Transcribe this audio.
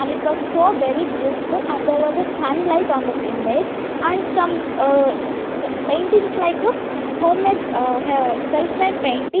and it was so very beautiful and there was a sunlight on the m image and some uh paintings like a homemade ah ha self made painting.